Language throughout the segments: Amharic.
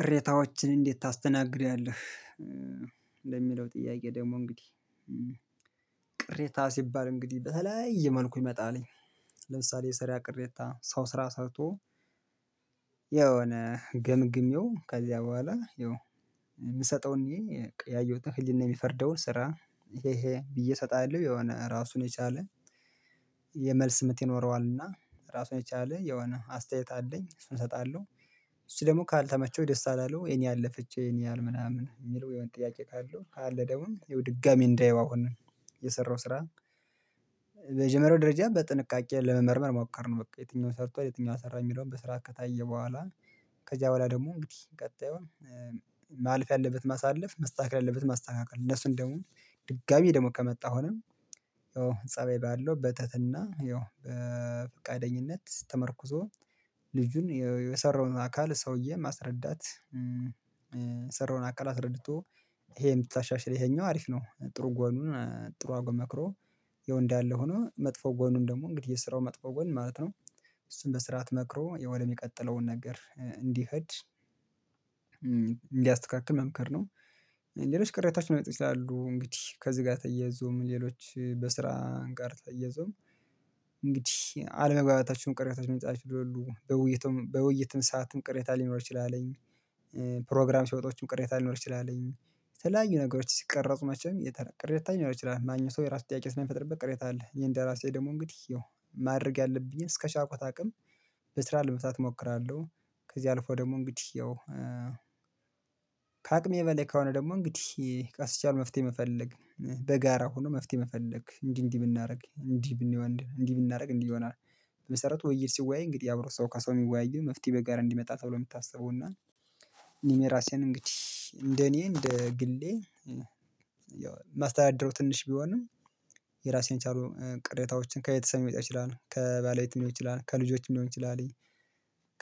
ቅሬታዎችን እንዴት ታስተናግዳለህ? ለሚለው ጥያቄ ደግሞ እንግዲህ ቅሬታ ስባል እንግዲህ በተለያየ መልኩ ይመጣል። ለምሳሌ የስራ ቅሬታ ሰው ስራ ሰርቶ። የሆነ ገምግሜው ከዚያ በኋላ የምሰጠውን እኔ ያየሁትን ህሊና የሚፈርደውን ስራ። ይሄ ይሄ ብዬ እሰጣለሁ የሆነ ራሱን የቻለ። ምት ይኖረዋልና እራሱን የቻለ የሆነ አስተያየት አለኝ እሱን እሰጣለሁ። እሱ ደግሞ ካልተመቸው ደስ አላለው የኔ ያለፈችው የኔ ምናምን የሚል የሆነ ጥያቄ ካለው ካለ ደሞዝ ይሄው ድጋሚ እንዳየው አሁን የሰራው ስራ። በጀመርያው ደረጃ በጥንቃቄ ለመመርመር ሞከርን በቃ የትኛውን ሰርቷል የትኛውን አልሰራም የሚለውን በስርዓት ከታየ በኋላ። ከዚያ በኋላ ደግሞ እንግዲህ ቀጣዩን ማላፍ ያለበት ማሳለፍ መስተካከል ያለበት ማስተካከል እነሱን ደግሞ ድጋሜ ደግሞ ከመጣ አሁንም ያው ፀባይ ባለው በትህትና ያው በፍቃደኝነት ተመርኩዞ። ልጁን የሰራውን አካል ሰውዬ ማስረዳት። የሰራውን አካል አስረድቶ። ይሄን ብታሻሽል ይሄኛው አሪፍ ነው ጥሩ ጎኑን ጥሩ አርጎ መክሮ። ያው እንዳለ ሆኖ ያለው ሆኖ መጥፎ ጎኑን ደግሞ እንግዲህ የስራው መጥፎ ጎን ማለት ነው። እሱን በስርዓት መክሮ የሆኔ ምቀጥለውን ነገር እንዲሄድ እንድያስተካክል መምከር ነው። ሌሎች ቅሬታዎች ለመጡ ይችላሉ እንግዲህ ከዚህ ጋር ተያይዞም ሌሎች በስራ ጋር ተያይዞም። እንግዲህ አለመግባባታችሁን ቅሬታችሁን መጻፍ ይችላሉ በውይይቱም በውይይትም ሰዓትም ቅሬታ ሊኖር ይችላልን? ፕሮግራም ሲወታም ቅሬታ ሊኖር ይችላል። የተለያዩ ነገሮች ሲቀረጹ ማቼም ቅሬታ ሊኖር ይችላል። ማንም ሰው የራሱ ጥያቄ ስለሚፈጥርበት ቅሬታ አለ። እኔ እንደራሴ ደግሞ እንግዲህ ይኸው ማድረግ ያለብኝን እስከ ቻልኩት አቅም በስራ ለዉታት እሞክራለሁ። ከዚህ አልፎ ደግሞ እንግዲህ ያው ከአቅሜ በለይ ከሆነ ደግሞ እንግዲህ ቀስ እያሉ መፍትሄ መፈለግ በጋራ ሆኖ መፍትሄ መፈለግ እንዲህ እንዲህ ብናረግ እንዲህ ብንሄድ እንዲህ ብናረግ እንዲህ ይሆናል። በመሰረቱ ወይ ሲወያይ እንግዲህ የአብሮ ሰው ከሰው የሚወያየው መፍትሄ በጋራ እንድመጣ ተብሎ የምታስበው እና እኔ ራሴን እንግዲህ እንደኔ እንደ ግሌ ያው ማስተዳደሩ ትንሽ ቢሆንም። የራሴን ቻሎ ቅሬታዎችን ከየት ሰሜን ይመጣል ከባለቤት ሊሆን ይችላል ከልጆች ሊሆን ይችላል።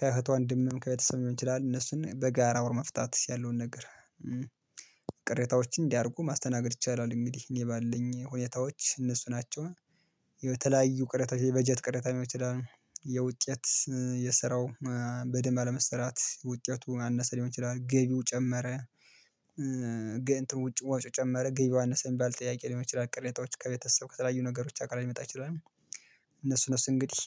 ከእህት እንድምም ከቤተሰብ ሊሆን ይችላል እነሱን በጋራ አውሮ መፍታት ያለውን ነገር። ቅሬታዎችን እንዲ አድርገው ማስተናገድ ይቻላል እንግዲህ እኔ ባለኝ ሁኔታዎች እነሱ ናቸው። የተለያዩ ቅሬታ የበጀት ቅሬታ ልሆን ይችላል። የውጤት የስራው በደንብ አለመሰራት ውጤቱ ያነሰ ሊሆን ይችላል ገቢው ጨመረ። ውጭ ወጪው ጨመረ ግቢው አነሰ ሚባል ጥያቄ ልሆን ይችላል ቅሬታዎች ከቤተሰብ ከተለያዩ ነገሮች አቅራብያ ልመጣ ይችላል። እነሱ እነሱ እንግዲህ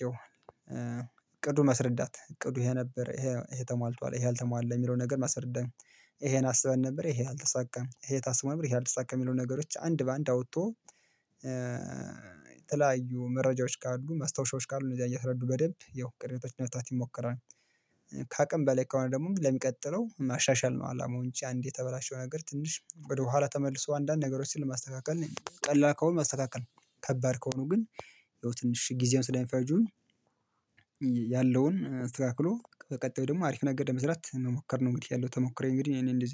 እቅዱን መስረዳት እቅዱ ይሄ ነበር ይሄ ተሟልቷል ይሄ አልተሟላም የሚለውን ነገር ማሰረዳት። ይሄን አስበን ነበር ይሄ አልተሳካም ይሄ ታስቦ ነበር ይሄ አልተሳካም የሚለውን ነገሮች አንድ በአንድ አውጥቶ። የተለያዩ መረጃዎች ካሉ መስታወሻዎች ካሉ እነዚህ እያስረዱ በደንብ ያው ቅረታዎችን ለመፍታት ይሞከራል። ከአቅም በላይ ከሆነ ደግሞ ለሚቀጥለው ማሻሻል ነው አላማው እንጂ አንዴ የተበላሸውን ነገር ትንሽ ወደኋላ ተመልሶ አንዳንድ ነገሮችን ማስተካከል ቀላል ከሆነ ማስተካከል። ከባድ ከሆኑ ግን። ያው ትንሽ ጊዜዉን ስለ ምፈጁ። ያለውን አስተከክሎ በቀጣዩ ደግሞ አሪፍ ነገር ለመስራት መሞከር ነው እንግዲህ ያለው ተሞክሮዬ እንግዲህ እኔ እንደዚህ